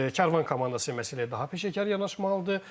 Karvan komandası məsələyə daha peşəkar yanaşmalıdır.